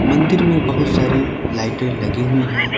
मंदिर में बहुत सारी लाइटें लगी हुई हैं।